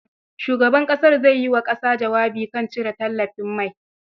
Shugaban ƙasar zai yi wa ƙasa jawabi kan cire tallafin mai.